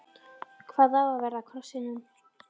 Hvað á að verða af krossinum?